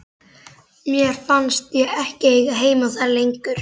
Mér fannst ég ekki eiga heima þar lengur.